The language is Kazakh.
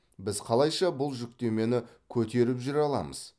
біз қалайша бұл жүктемені көтеріп жүре аламыз